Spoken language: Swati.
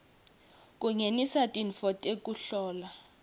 kungenisa tintfo tekuhlola